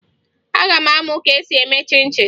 Aga m amụ ka esi eme chịn chịn